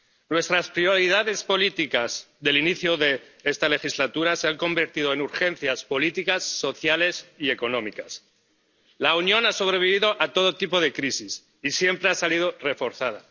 Nuestras prioridades políticas del inicio de esta legislatura se han convertido en urgencias políticas, sociales y económicas. La Unión ha sobrevivido a todo tipo de crisis y siempre ha salido reforzada.